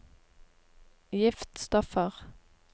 giftstoffer